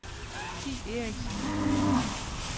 Thi Eriksen